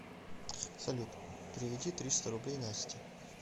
салют переведи триста рублей насте